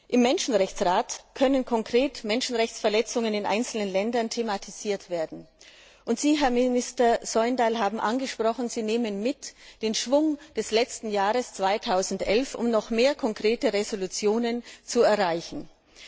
Im Menschenrechtsrat können konkret Menschenrechtsverletzungen in einzelnen Ländern thematisiert werden, und Sie, Herr Minister Søvndal, haben angesprochen, dass Sie den Schwung des letzten Jahres mitnehmen, um noch mehr konkrete Resolutionen zu verabschieden.